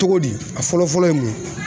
Togo di a fɔlɔfɔlɔ ye mun ye